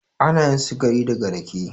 Anayin sukari daga rake.